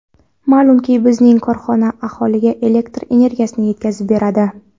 Ma’lumki, bizning korxona aholiga elektr energiyasini yetkazib beradi.